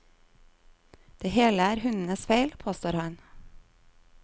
Det hele er hundens feil, påstår han.